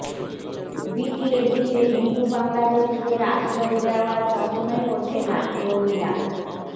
বিটিএডিতে হিন্দু বাংলাদেশিদের আশ্ৰয় দেওয়ার প্ৰশ্নই ওঠে নাঃ প্ৰমীলা